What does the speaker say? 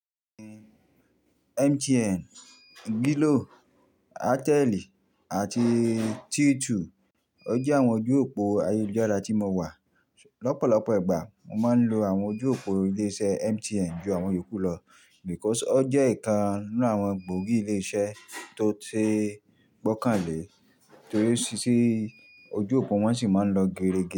MTN, Glo, Airtel àti T2. O jẹ́ àwọn ojú òpó ayélujára tí mo wà. Lọ́pọ̀lọpọ̀ ìgbà, mo máa ń lo àwọn ojú òpó ilé iṣẹ́ MTN ju àwọn èyí kú lọ because o jẹ́ ìkan nínú àwọn gbòógì ilé iṣẹ́ tó ti gbọ́kànlé torí sì ojú òpó wọn sì máa ń lọ gerege.